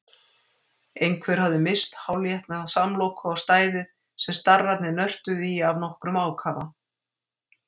Einhver hafði misst hálfétna samloku á stæðið sem starrarnir nörtuðu í af nokkrum ákafa.